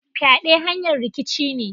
Fyade hanyar rikici ne.